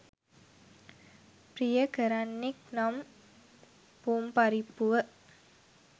ප්‍රිය කරන්නෙක් නම් පොම්පරිප්පුව